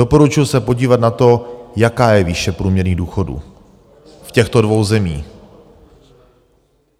Doporučuju se podívat na to, jaká je výše průměrných důchodů v těchto dvou zemích.